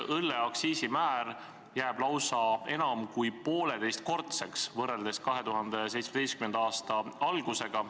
Õlleaktsiisi määr jääb lausa enam kui poolteisekordseks võrreldes 2017. aasta algusega.